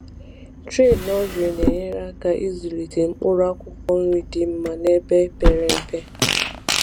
Tray nursery na-enyere aka ịzụlite mkpụrụ akwụkwọ nri dị mma n’ebe pere mpe.